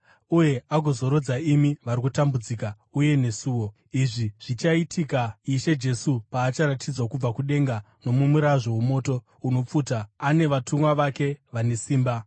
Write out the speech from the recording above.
uye agozorodza imi vari kutambudzika, uye nesuwo. Izvi zvichaitika Ishe Jesu paacharatidzwa kubva kudenga mumurazvo womoto unopfuta ane vatumwa vake vane simba.